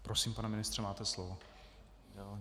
Prosím, pane ministře, máte slovo.